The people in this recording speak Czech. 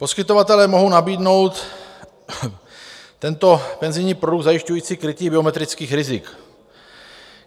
Poskytovatelé mohou nabídnout tento penzijní produkt zajišťující krytí geometrických rizik.